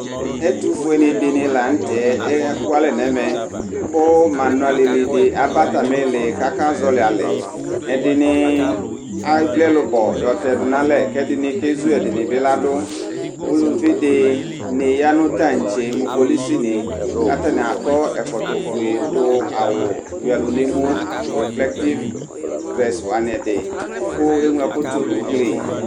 Ɛtufue ni dini laŋtɛ ekualɛ nɛmɛKʋ manualɛli di aba atamili kakazɔli alɛ Ɛdini evli ɛlubɔ yɔtɛdu nalɛƐdini kezu ɛdini bi ladʋUluvi dini ya nʋ taŋtse, mʋ kpolusi ni Katani akɔ ɛkɔtɔ fue du nu awu wuialu nemuReflective dresse wani ɛdi Kʋ eɣlo ɛkʋ tu nugli